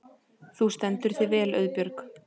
Þú stendur þig vel, Auðbjörg!